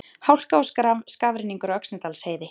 Hálka og skafrenningur á Öxnadalsheiði